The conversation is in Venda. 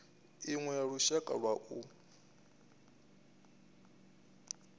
iṅwe ya lushaka lwa u